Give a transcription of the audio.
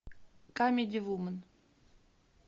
камеди вумен